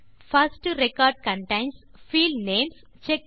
first record contains field names